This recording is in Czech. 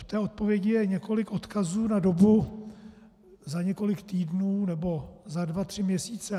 V té odpovědi je několik odkazů na dobu za několik týdnů, nebo za dva tři měsíce.